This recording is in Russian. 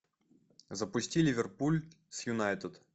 запусти ливерпуль с юнайтед